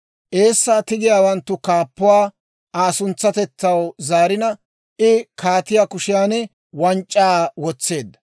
Eessaa tigiyaawanttu kaappuwaa Aa suntsatetsaw zaarina, I kaatiyaa kushiyaan wanc'c'aa wotseedda.